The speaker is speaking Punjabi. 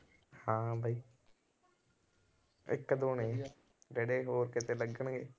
ਹਾਂ ਬਾਈ ਇੱਕ ਦੋ ਨੇ ਜਿਹੜੇ ਹੋਰ ਕਿਤੇ ਲੱਗਣਗੇ।